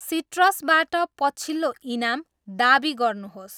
सिट्रसबाट पछिल्लो इनाम दावी गर्नुहोस्।